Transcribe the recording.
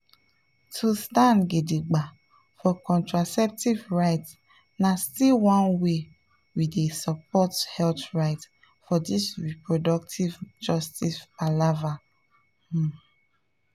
to stand gidigba for contraceptive rights na still one way we dey support health rights for this reproductive justice palava um.